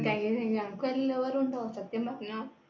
thank you thank you അനക്ക് വെല്ല lover ഉം ഉണ്ടോ, സത്യം പറഞ്ഞോ